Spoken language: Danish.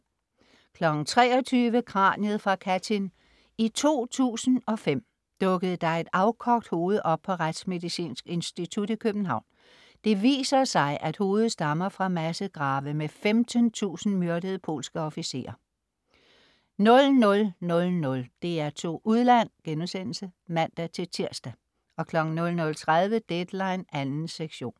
23.00 Kraniet fra Katyn. I 2005 dukkede der et afkogt hoved op på Retsmedicinsk Institut i København. Det viser sig, at hovedet stammer fra massegrave med 15.000 myrdede polske officerer 00.00 DR2 Udland* (man-tirs) 00.30 Deadline 2. sektion